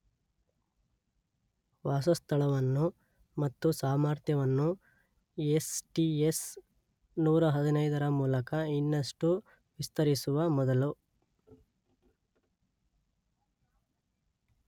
ವಾಸಸ್ಥಳವನ್ನು ಮತ್ತು ಸಾಮರ್ಥ್ಯವನ್ನು S T S ನೂರ ಹದಿನೈದರ ಮೂಲಕ ಇನ್ನಷ್ಟು ವಿಸ್ತರಿಸುವ ಮೊದಲು